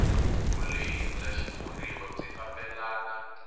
vulehi bya xitshuriwa byi fambelana